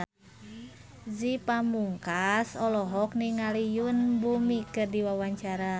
Ge Pamungkas olohok ningali Yoon Bomi keur diwawancara